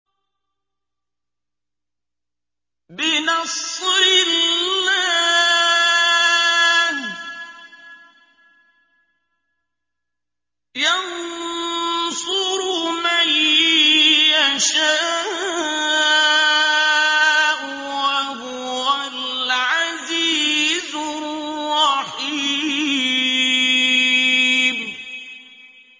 بِنَصْرِ اللَّهِ ۚ يَنصُرُ مَن يَشَاءُ ۖ وَهُوَ الْعَزِيزُ الرَّحِيمُ